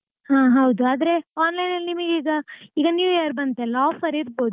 ಹಾ ಹೌದು ಆದ್ರೆ online ಲಿ ನಿಮಗೀಗ ಈಗ new year ಬಂತಲ್ಲ offer ಇರ್ಬೋದು.